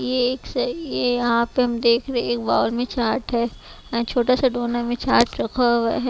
ये एक सा ये यहाँ पे हम देख रहे है एक बाउल में चाट है छोटा सा दोना में चाट रखा हुआ है।